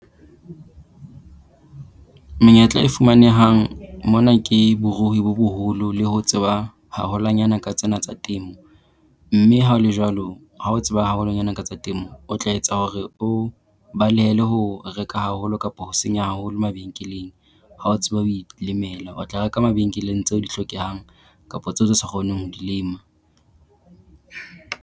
Menyetla e fumanehang mona ke borui bo boholo le ho tseba haholwanyana ka tsena tsa temo. Mme ha ho le jwalo, ha o tseba haholwanyana ka tsena tsa temo o tla etsa hore o balehele ho reka haholo kapo ho senya haholo mabenkeleng. Ha o tseba ho ilemela, o tla reka mabenkeleng tseo di hlokehang kapo tseo tse sa kgoneng ho di lema.